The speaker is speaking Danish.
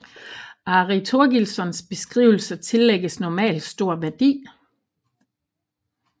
Ari Thorgilssons beskrivelser tillægges normalt stor værdi